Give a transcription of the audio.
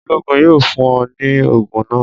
Oloogun yoo fun ọ ni oogun naa.